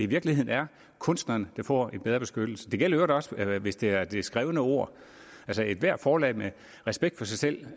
virkeligheden er kunstneren der får en bedre beskyttelse det gælder i øvrigt også hvis det er det skrevne ord altså ethvert forlag med respekt for sig selv